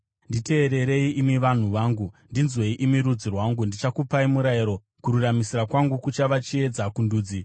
“Nditeererei, imi vanhu vangu; ndinzwei imi rudzi rwangu: Ndichakupai murayiro; kururamisira kwangu kuchava chiedza kundudzi.